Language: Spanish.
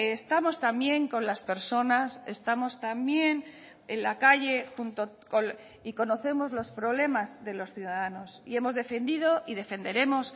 estamos también con las personas estamos también en la calle y conocemos los problemas de los ciudadanos y hemos defendido y defenderemos